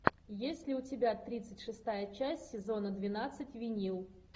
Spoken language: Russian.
есть ли у тебя тридцать шестая часть сезона двенадцать винил